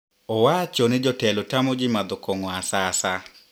owacho ni jotelo tamo ji madho kong`o asasa.